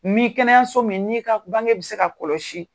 Nin kɛnɛyaso min n'i ka bange bɛ se ka kɔlɔsi.